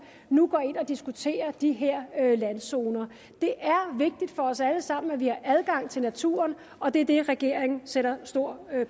nu går ind og diskuterer de her randzoner det er vigtigt for os alle sammen at vi har adgang til naturen og det er det regeringen sætter stor